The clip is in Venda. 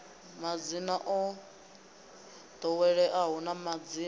madzina o ḓoweleaho na madzina